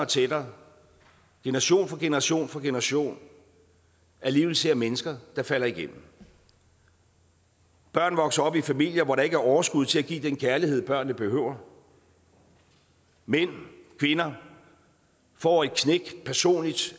tættere generation for generation for generation alligevel ser mennesker der falder igennem børn vokser op i familier hvor der ikke er overskud til at give den kærlighed børnene behøver mænd og kvinder får et personligt